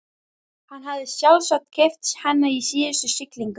Hann hafði sjálfsagt keypt hann í síðustu siglingu.